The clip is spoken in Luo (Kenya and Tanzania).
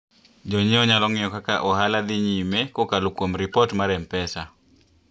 Jonyiewo nyalo ng'iyo kaka ohala dhi nyime kokalo kuom ripot mar M-Pesa.